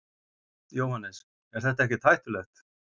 Jóhannes: Er þetta ekkert hættulegt?